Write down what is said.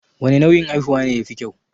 Wane nau'in haihuwa ne ya fi kyau?